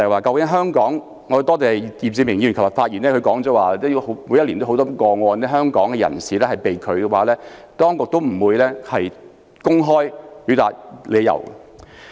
我要多謝易志明議員，他昨天發言時表示，每一年都有很多個案，很多人在香港被拒入境，當局也不會公開理由。